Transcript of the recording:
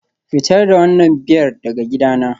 Fitar da wannan Biyar daga gidana